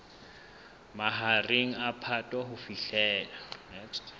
mahareng a phato ho fihlela